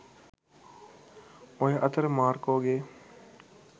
ඔය අතර මාර්කෝ ගේ